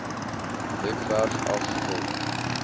webwerf af vul